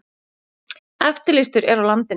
Eftirlýstur er á landinu